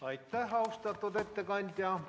Aitäh, austatud ettekandja!